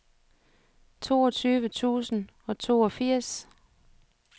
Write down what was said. toogtyve tusind og toogfirs